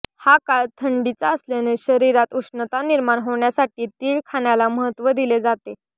हा काळ थंडीचा असल्याने शरीरात उष्णता निर्माण होण्यासाठी तीळ खाण्याला महत्त्व दिले जाते